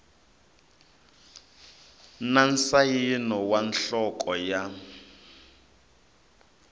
na nsayino wa nhloko ya